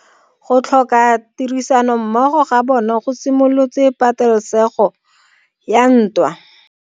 Go tlhoka tirsanommogo ga bone go simolotse patelesego ya ntwa.